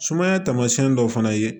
Sumaya taamasiyɛn dɔ fana ye